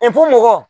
mɔgɔ